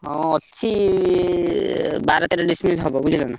ହଁ ଅଛି ବାର ତେର ଡେଶି ବିଲି ହବ ବୁଝିଲନା?